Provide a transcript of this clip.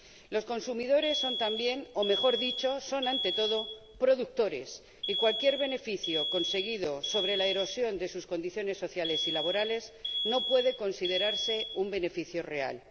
Los consumidores son también o, mejor dicho, son ante todo productores y cualquier beneficio conseguido con la erosión de sus condiciones sociales y laborales no puede considerarse un beneficio real.